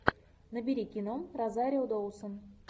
набери кино розарио доусон